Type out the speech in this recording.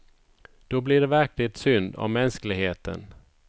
Då blir det verkligt synd om mänskligheten.